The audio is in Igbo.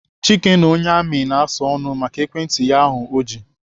Chike na onye amị na-asa ọnụ maka ekwentị ya ahụ o ji.